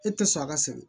E tɛ sɔn a ka se